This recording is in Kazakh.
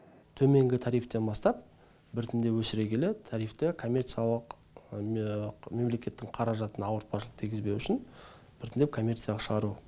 төменгі тарифтен бастап біртіндеп өсіре келе тарифті мемлекеттің қаражатына ауыртпашылық тигізбеу үшін біртіндеп коммерцияға шығару